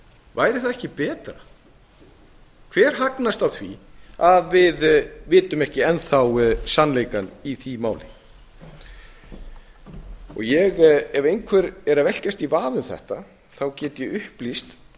væri þá ekki betra hver hagnast á því að við vitum ekki enn þá sannleikann í því máli og ef einhver er að velkjast í vafa um þetta þá get ég upplýst